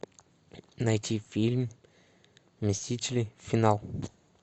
найти фильм мстители финал